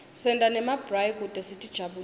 senta nemabrayi kute sitijabulise